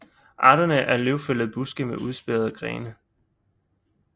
Arterne er løvfældende buske med udspærrede grene